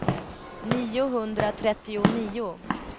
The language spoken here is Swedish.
niohundratrettionio